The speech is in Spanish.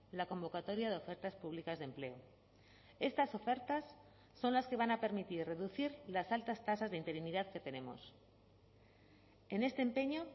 la convocatoria de ofertas públicas de empleo estas ofertas son las que van a permitir reducir las altas tasas de interinidad que tenemos en este empeño